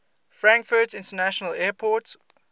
frankfurt international airport